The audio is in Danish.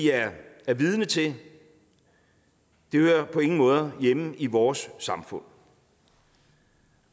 er vidne til hører på ingen måder hjemme i vores samfund